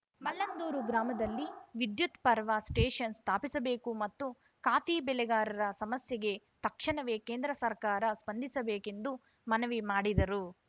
ಮಲ್ಲಂದೂರು ಗ್ರಾಮದಲ್ಲಿ ವಿದ್ಯುತ್‌ power station ಸ್ಥಾಪಿಸಬೇಕು ಮತ್ತು ಕಾಫಿ ಬೆಳೆಗಾರರ ಸಮಸ್ಯೆಗೆ ತಕ್ಷಣವೆ ಕೇಂದ್ರ ಸರ್ಕಾರ ಸ್ಪಂದಿಸಬೇಕೆಂದು ಮನವಿ ಮಾಡಿದರು